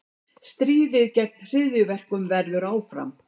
Stríðið gegn hryðjuverkum heldur áfram